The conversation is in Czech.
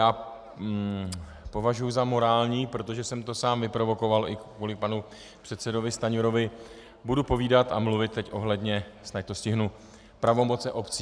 Já považuji za morální, protože jsem to sám vyprovokoval, i kvůli panu předsedovi Stanjurovi, budu povídat a mluvit teď ohledně, snad to stihnu, pravomocí obcí.